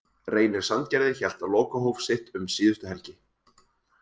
Reynir Sandgerði hélt lokahóf sitt um síðustu helgi.